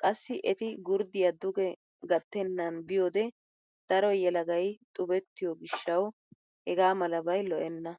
Qassi eti gurddiya duge gattennan biyode daro yelagay xubettiyo gishshawu hegaa malabay lo'enna.